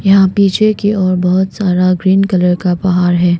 यहां पीछे की ओर बहुत सारा ग्रीन कलर का पहार है।